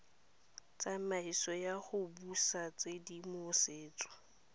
tsamaiso ya go busa tshedimosetso